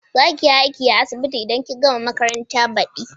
Za kiyi aiki a asibiti idan kin gama makaranta badi?